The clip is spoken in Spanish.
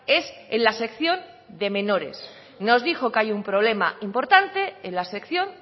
es en la sección de menores nos dijo que hay un problema importante en la sección